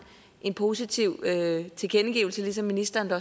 en positiv tilkendegivelse ligesom ministeren da